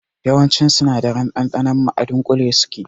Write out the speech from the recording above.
Yawancin sinadaran ɗanɗanon mu a dunƙule suke zuwa